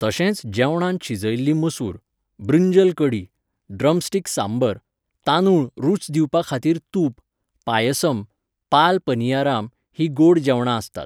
तशेंच जेवणांत शिजयल्ली मसूर, बृंजल कढी, ड्रमस्टीक सांबर, तांदूळ रूच दिवपाखातीर तूप, पायसम, पाल पनियाराम हीं गोड जेवणां आसतात.